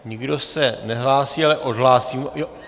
Nikdo se nehlásí, ale odhlásím...